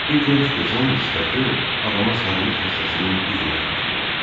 Bu gənc qızın sifəti adama sarılıq xəstəsinin üzünü xatırladır.